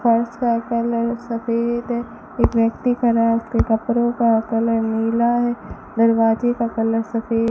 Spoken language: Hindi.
का कलर सफ़ेद है एक व्यक्ति खड़ा है उसके कपड़ों का कलर नीला है दरवाजे का कलर सफेद --